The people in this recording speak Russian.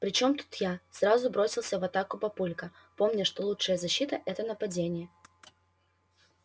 при чем тут я сразу бросился в атаку папулька помня что лучшая защита это нападение